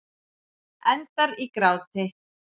Endar í gráti.